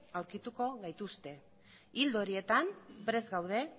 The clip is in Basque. aurkituko gaituzte ildo horietan prest gaude